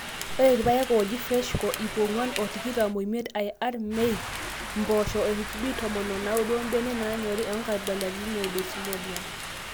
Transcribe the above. ore irpaek ooji freshco iip ong'uan o tikitam oimiet IR maize, impoosho HB tomon o naudo obenek naanyori aa nkabilaritin e desmodium.